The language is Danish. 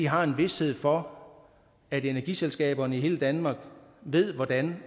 har en vished for at energiselskaberne i hele danmark ved hvordan